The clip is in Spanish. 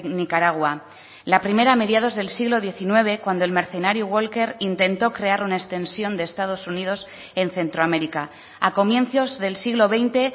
nicaragua la primera a mediados del siglo diecinueve cuando el mercenario walker intento crear una extensión de estados unidos en centroamérica a comienzos del siglo veinte